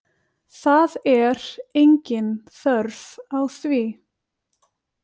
Það er engin þörf á því.